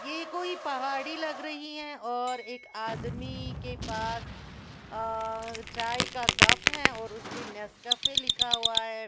ये कोई पहाड़ी लग रही है और एक आदमी के पास अअअ चाय का कप है और उस पे नेस्कैफे लिखा हुआ है।